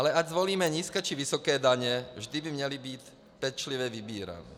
Ale ať volíme nízké, či vysoké daně, vždy by měly být pečlivě vybírané.